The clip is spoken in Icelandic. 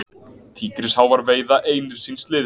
Tígrisháfar veiða einir síns liðs.